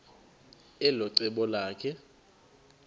elo cebo lakhe